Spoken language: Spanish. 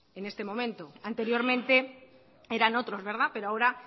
en este momento anteriormente eran otros verdad pero ahora